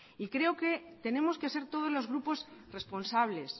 y creo que tenemos que ser todos los grupos responsables